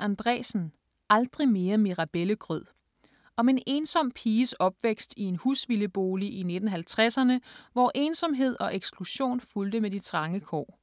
Andreasen, Gullan: Aldrig mere mirabellegrød Om en ensom piges opvækst i en husvildebolig i 1950'erne, hvor ensomhed og eksklusion fulgte med de trange kår.